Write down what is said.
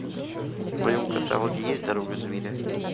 в твоем каталоге есть дорога зверя